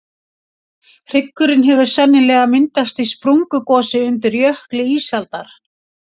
hryggurinn hefur sennilega myndast í sprungugosi undir jökli ísaldar